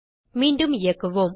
மீண்டும் இயக்குவோம்